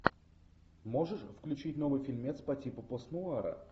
можешь включить новый фильмец по типу пост нуара